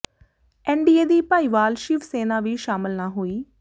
NDA ਦੀ ਭਾਈਵਾਲ ਸ਼ਿਵ ਸੈਨਾ ਵੀ ਸ਼ਾਮਲ ਨਾ ਹੋਈ